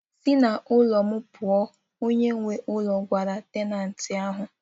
Si n'ulo m pụọ! onye nwe ụlọ gwara tenantii ahụ